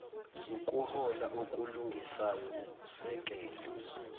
ukuhola okulungisayo ukusekela